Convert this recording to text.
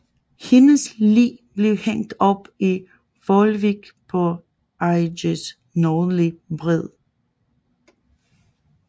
Hendes lig blev hængt op i Volewijk på IJs nordlige bred